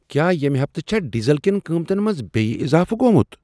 کیٛاہ ییٚمہ ہفتہٕ چھا ڈیزل کیٚن قۭمتن منٛز بیٚیہ اضافہٕ گوٚمٗت؟